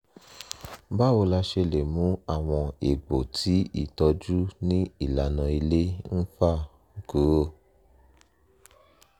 báwo la ṣe lè mú àwọn egbò tí ìtọ́jú ní ìlànà ilé ń fà kúrò?